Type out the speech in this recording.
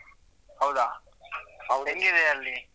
ಹೌದಾ ಹೆಂಗ್ ಇದೇ ಅಲ್ಲಿ?